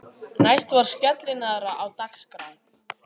Næst var skellinaðra á dagskrá.